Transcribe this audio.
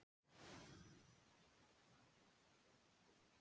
Við eigum vel að geta gert það.